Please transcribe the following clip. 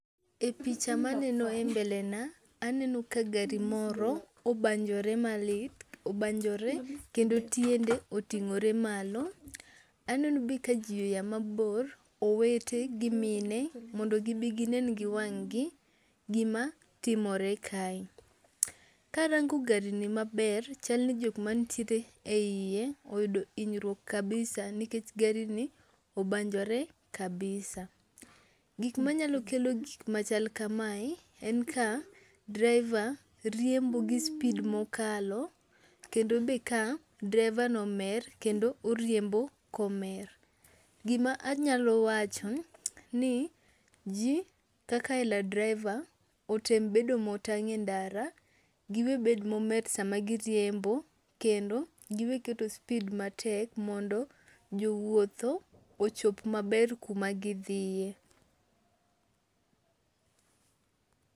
E picha maneno e mbele na, aneno ka gari moro obanjore malit, obanjore kendo tiende oting'ore malo, aneno be ka ji oya mabor, owete gi mine ,mondo gibi ginen gi wang'gi gimatimore kae. Karango gari ni maber, chal ni jok manitiere iye oyudo hinyruok kabisa nikech gari ni obanjore kabisa . Gik manyalo gik machal kamae, en ka driver riembo gi speed mokalo, kendo be ka draivano omer kendo oriembo komer. Gima anyalo wacho ni ji, kaka ero driver otem bedo motang' e ndara, giwe bedo momer sama giriembo, kendo giwe keto speed matek mondo jowuotho ochop maber kuma gidhiye.